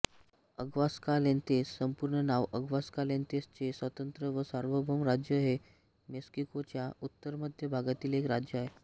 Aguascalientes संपूर्ण नाव अग्वासकाल्येंतेसचे स्वतंत्र व सार्वभौम राज्य हे मेक्सिकोच्या उत्तरमध्य भागातील एक राज्य आहे